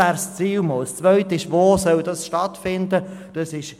Weiter geht es darum, wo diese Wissensvermittlung stattfinden soll.